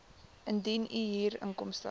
indien u huurinkomste